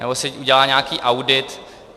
Nebo si udělá nějaký audit.